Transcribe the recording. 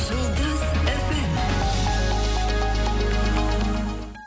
жұлдыз эф эм